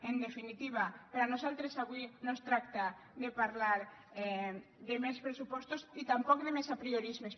en definitiva per nosaltres avui no es tracta de parlar de més pressupostos i tampoc de més apriorismes